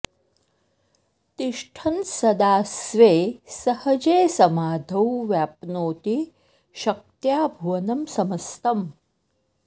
तिष्ठन् सदा स्वे सहजे समाधौ व्याप्नोति शक्त्या भुवनं समस्तम्